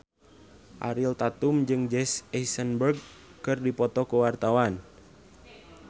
Ariel Tatum jeung Jesse Eisenberg keur dipoto ku wartawan